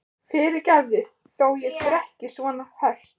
Fyrirgefðu þó ég drekki svona ört.